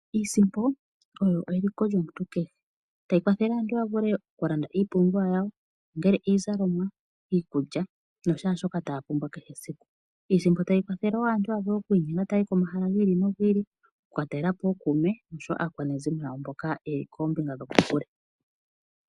Iisimpo oyo eliko lyomuntu kehe. Otayi kwathele aantu ya vule okulanda iipumbiwa yawo, ongele iizalomwa, iikulya nashaashoka taya pumbwa kehe esiku. Iisimpo tayi kwathele aantu ya vule okuinyenga taya yi pomahala gi ili nogi ili, oku ka talela po ookuume noshowo aakwanezimo mboka ye li koombinga dhokokule.